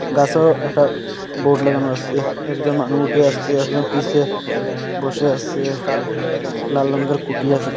গাছেরও একটা বোর্ড লাগানো আসে একজন মানু উঠে আসছে একজন পিসে বসে আসে লাল রঙ্গের খুঁটি আসে।